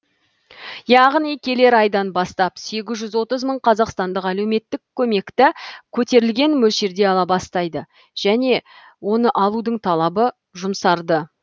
яғни келер айдан бастап сегіз жүз отыз мың қазақстандық әлеуметтік көмекті көтерілген мөлшерде ала бастайды және оны алудың талабы жұмсарды